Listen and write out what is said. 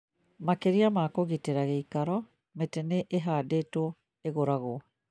Makĩria ma kũgitĩra gĩikaro, mĩtĩ nĩ ĩhandĩtwo ĩgũragwo